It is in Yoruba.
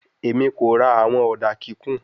Emi ko ra awọn oda kikun